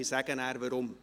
Ich sage dann, weshalb.